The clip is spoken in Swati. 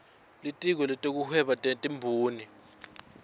litiko letekuhweba netimboni